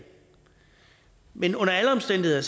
men under alle omstændigheder